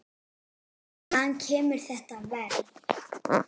Hvaðan kemur þetta verð?